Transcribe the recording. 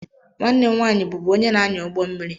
Nwanne m nwanyị bụbu onye na-anya ụgbọ mmiri.